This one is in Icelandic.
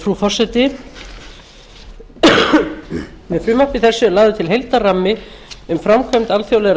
frú forseti með frumvarpi þessu er lagður til heildarrammi um framkvæmd alþjóðlegra